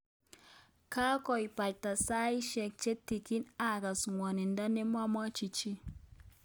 Kongoibata saisyek che tutigiin akas ng'wonindo ne magimwochin chii